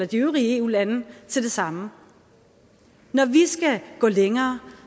de øvrige eu lande til det samme når vi skal gå længere